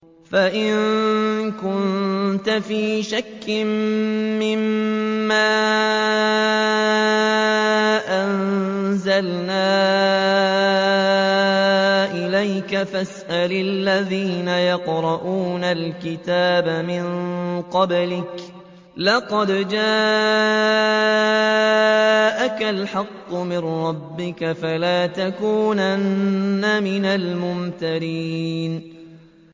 فَإِن كُنتَ فِي شَكٍّ مِّمَّا أَنزَلْنَا إِلَيْكَ فَاسْأَلِ الَّذِينَ يَقْرَءُونَ الْكِتَابَ مِن قَبْلِكَ ۚ لَقَدْ جَاءَكَ الْحَقُّ مِن رَّبِّكَ فَلَا تَكُونَنَّ مِنَ الْمُمْتَرِينَ